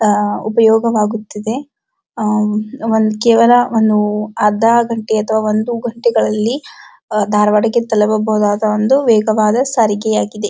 ಆಹ್ಹ್ ಉಪಯೋಗ ಆಗುತ್ತಿದೆ ಆಹ್ಹ್ ಒಂದು ಕೇವಲ ಒಂದು ಅರ್ಧ ಗಂಟೆ ಅಥವಾ ಒಂದು ಗಂಟೆಯಲ್ಲಿ ದರ್ವಾಡಾಕ್ಕೆ ತಲುಪ ಬಹುದಾದ ವೇಗವಾದ ಸರಿಗೆಯಾಗಿದೆ.